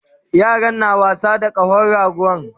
Yaran na wasa da kahon rago